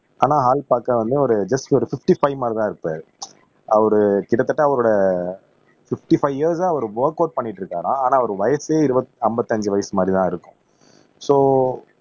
ஆனா ஆள் பார்க்க வந்து ஒரு ஜஸ்ட் ஒரு பிப்டி பைவ் மாதிரிதான் இருப்பாரு அவரு கிட்டத்தட்ட அவரோட பிப்டி-பைவ் இயர்ஸா அவரு ஒர்கவுட் பண்ணிட்டு இருக்காராம் ஆனா அவரு வயசே இருவத் ஐம்பத்தி அஞ்சு வயசு மாதிரிதான் இருக்கும் சோ